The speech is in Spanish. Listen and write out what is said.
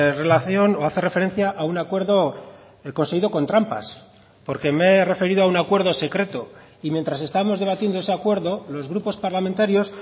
relación o hace referencia a un acuerdo el conseguido con trampas porque me he referido a un acuerdo secreto y mientras estamos debatiendo ese acuerdo los grupos parlamentarios